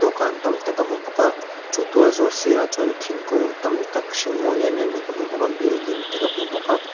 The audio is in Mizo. tam tak ka hmu bawk a chu tualzawl sirah chuan thingkung tam tak hring mawi em em mai ka hmu bawk a building te ka hmu bawk a.